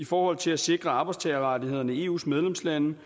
forhold til at sikre arbejdstagerrettighederne i eus medlemslande